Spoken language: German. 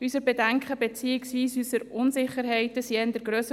Unsere Bedenken beziehungsweise unsere Unsicherheiten wurden eher grösser.